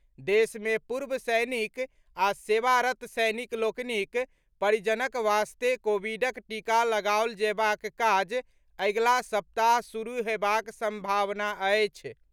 देश मे पूर्व सैनिक आ सेवारत सैनिक लोकनिक परिजनक वास्ते कोविडक टीका लगाओल जयबाक काज अगिला सप्ताह शुरू हेबाक संभावना अछि।